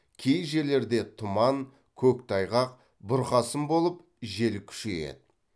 кей жерлерде тұман көктайғақ бұрқасын болып жел күшейеді